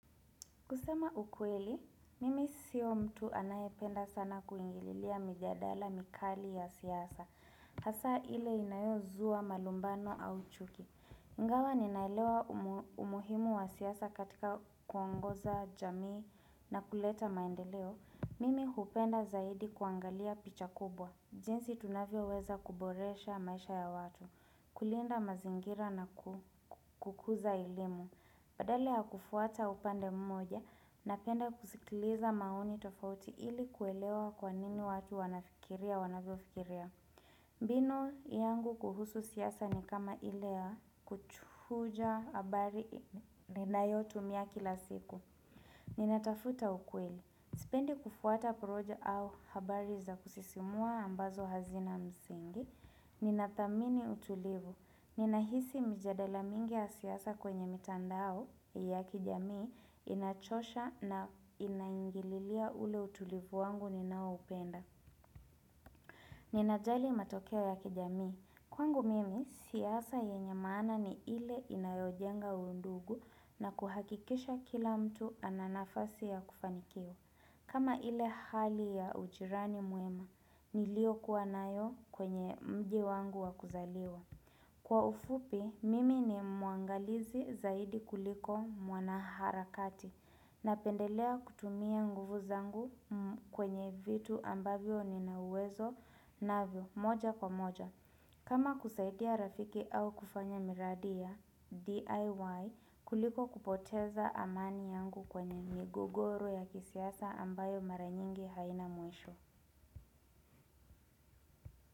Kusema ukweli, mimi siyo mtu anayependa sana kuingililia mijadala mikali ya siasa. Hasaa ile inayozua malumbano au chuki. Ingawa ninaelewa umuhimu wa siasa katika kuongoza jamii na kuleta maendeleo. Mimi hupenda zaidi kuangalia picha kubwa. Jinsi tunavyoweza kuboresha maisha ya watu. Kulinda mazingira na kukuza ilimu. Badala ya kufuata upande mmoja, napenda kusikiliza maoni tofauti ili kuelewa kwa nini watu wanafikiria wanavyofikiria. Bino yangu kuhusu siasa ni kama ile ya kuchuja habari ninayotumia kila siku. Ninatafuta ukweli. Sipendi kufuata porojo au habari za kusisimua ambazo hazina msingi. Ninathamini utulivu. Ninahisi mjadala mingi ya siasa kwenye mitandao. Ya kijamii inachosha na inaingililia ule utulivu wangu ninaoupenda ninajali matokeo ya kijamii Kwangu mimi, siasa yenye maana ni ile inayojenga undugu na kuhakikisha kila mtu ana nafasi ya kufanikiwa kama ile hali ya ujirani mwema, niliokuwa nayo kwenye mji wangu wa kuzaliwa Kwa ufupi, mimi ni mwangalizi zaidi kuliko mwana harakati napendelea kutumia nguvu zangu kwenye vitu ambavyo nina uwezo navyo moja kwa moja. Kama kusaidia rafiki au kufanya miradi ya DIY kuliko kupoteza amani yangu kwenye migogoro ya kisiasa ambayo mara nyingi haina mwisho.